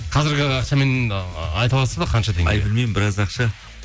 қазіргігі ақшамен айта аласыз ба қанша теңге ай білмеймін біраз ақша